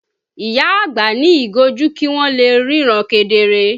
ìyá àgbà ní ìgò ojú kì wọn lè ríran kedere